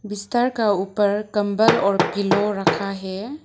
बिस्तर का ऊपर कंबल और पिलो रखा है।